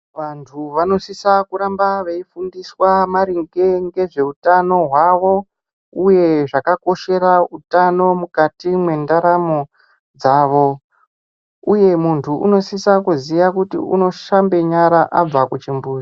Vantu vanosisa kuramba veifundiswa maringe ngezveutano hwavo, uye zvakakoshera utano mukati mwendaramo dzavo, uye muntu unosise kuzviya kuti unoshambe nyara abva kuchimbuzi.